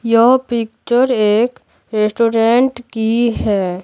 यह पिक्चर एक रेस्टोरेंट की है।